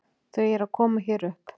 Þau eru að koma hér upp.